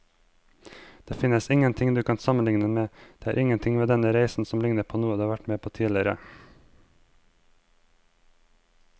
Det finnes ingenting du kan sammenligne med, det er ingenting ved denne reisen som ligner på noe du har vært med på tidligere.